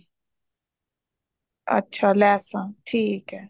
ਅੱਛਾ ਲੈਸਾਂ ਠੀਕ ਹੈ